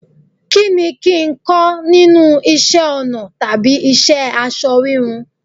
Kí ni kín ń kọ́ nínú isẹ́ ọnà tàbí iṣẹ́ aṣọ wíwun?